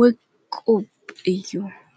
ወቁብ እዩ።